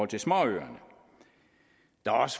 til småøerne